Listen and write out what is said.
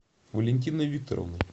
валентиной викторовной